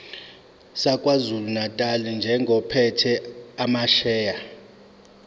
sakwazulunatali njengophethe amasheya